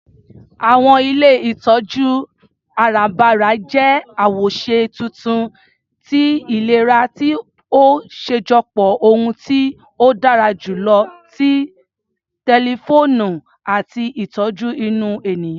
Àwọn ilé ìtọjú arabara jẹ́ awoṣe tuntun tí ìlera ti o ṣajọpọ ohun tí ó dára jùlọ ti tẹlifoonu àti ìtọjú inú ènìyàn.